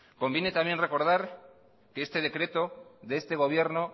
conviene también recordar que este decreto de este gobierno